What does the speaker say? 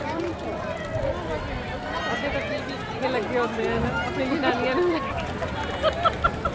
ਅਦੇ ਤੇ ਪੀ ਪੀ ਕੇ ਲਗੇ ਹੋਂਦੇ ਹੇਨਾ ਆਪਣੀ ਜਨਾਨੀਆਂ